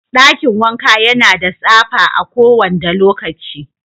Dakin wanka yana da tsapa a kowanda lokaci.